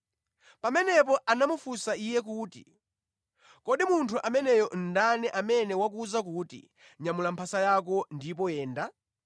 Pamenepo anamufunsa iye kuti, “Kodi munthu ameneyo ndani amene wakuwuza kuti, ‘Nyamula mphasa yako ndipo yenda?’ ”